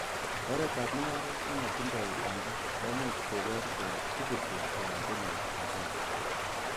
Oretab mung'aret nemotindoi baita, komuch kobor kele ibuti anan konyor hasara.